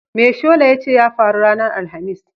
Me shola ya ce ya faru ranar Alhamis?